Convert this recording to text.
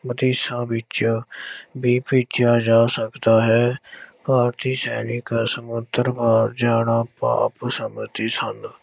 ਵਿਦੇਸ਼ਾਂ ਵਿੱਚ ਵੀ ਭੇਜਿਆ ਜਾ ਸਕਦਾ ਹੈ ਭਾਰਤੀ ਸੈਨਿਕ ਸਮੁੰਦਰ ਪਾਰ ਜਾਣਾ ਪਾਪ ਸਮਝਦੇ ਸਨ।